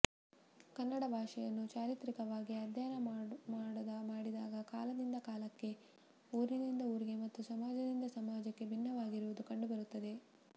ಕನ್ನಡ ಭಾಷೆಯನ್ನು ಚಾರಿತ್ರಿಕವಾಗಿ ಅಧ್ಯಯನ ಮಾಡಿದಾಗ ಕಾಲದಿಂದ ಕಾಲಕ್ಕೆ ಊರಿನಿಂದ ಊರಿಗೆ ಮತ್ತು ಸಮಾಜದಿಂದ ಸಮಾಜಕ್ಕೆ ಭಿನ್ನವಾಗಿರುವುದು ಕಂಡುಬರುತ್ತದೆ